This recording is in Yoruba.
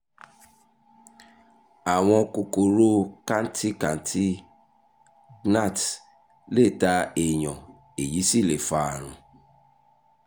àwọn kòkòrò kantikanti gnats lè ta èèyàn èyí sì lè fa àrùn